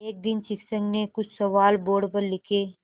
एक दिन शिक्षक ने कुछ सवाल बोर्ड पर लिखे